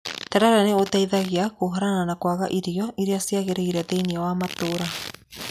Terere nĩ ũteithagia kũhũrana na kwaga irio irĩa ciagĩrĩire thĩiniĩ wa matũũra.